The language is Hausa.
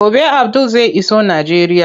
Gobe Abdul zai iso Najeriya.